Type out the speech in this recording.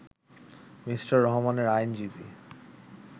Me. রহমানের আইনজীবি